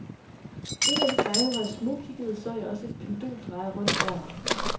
En af de gange, hvor jeg smugkiggede, så jeg også et pendul dreje rundt over mig.